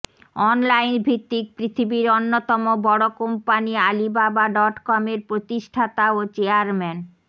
অনলাইনভিত্তিক পৃথিবীর অন্যতম বড় কোম্পানি আলিবাবা ডটকমের প্রতিষ্ঠাতা ও চেয়ারম্যান